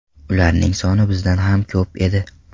Ularning soni bizdan ham ko‘p edi.